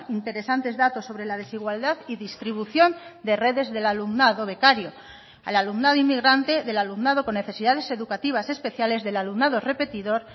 interesantes datos sobre la desigualdad y distribución de redes del alumnado becario al alumnado inmigrante del alumnado con necesidades educativas especiales del alumnado repetidor